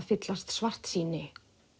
fyllast svartsýni